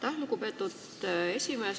Aitäh, lugupeetud esimees!